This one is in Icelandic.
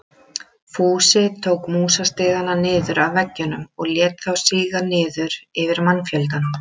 Fúsi tók músastigana niður af veggjunum og lét þá síga niður yfir mannfjöldann.